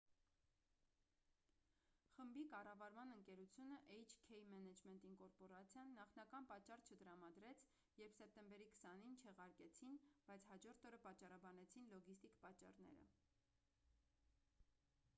խմբի կառավարման ընկերությունը էյչ-քեյ մենեջմենթ ինկորպորացիան նախնական պատճառ չտրամադրեց երբ սեպտեմբերի 20-ին չեղարկեցին բայց հաջորդ օրը պատճառաբանեցին լոգիստիկ պատճառները